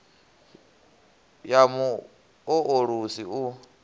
ya mu o ulusi u